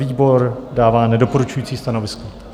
Výbor dává nedoporučující stanovisko.